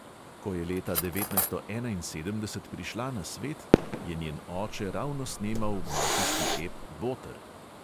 Ko je leta devetnajststo enainsedemdeset prišla na svet, je njen oče ravno snemal mafijski ep boter.